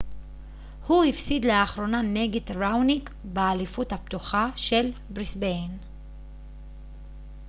הוא הפסיד לאחרונה נגד ראוניק באליפות הפתוחה של בריסביין